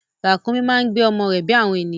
Ràkúnmí máa ń gbé ọmọ rẹ bí àwọn ènìyàn.